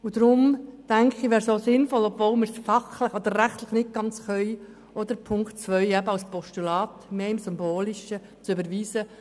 Obwohl die unter Punkt 2 geforderte Kündigung fachlich oder rechtlich nicht möglich ist, erachte ich es als sinnvoll, auch diesen Punkt als Postulat im symbolischen Sinn zu überweisen.